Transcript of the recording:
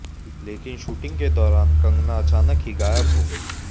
लेकिन शूटिंग के दौरान कंगना अचानक ही गायब हो गयीं